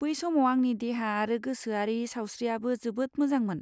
बै समाव आंनि देहा आरो गोसोआरि सावस्रिआबो जोबोद मोजांमोन।